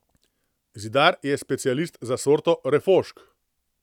Zidar je specialist za sorto refošk.